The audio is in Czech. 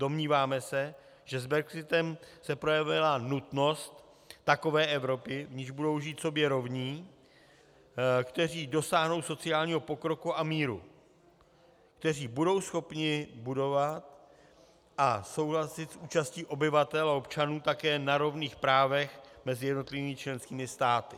Domníváme se, že s brexitem se projevila nutnost takové Evropy, v níž budou žít sobě rovní, kteří dosáhnou sociálního pokroku a míru, kteří budou schopni budovat a souhlasit s účastí obyvatel a občanů také na rovných právech mezi jednotlivými členskými státy.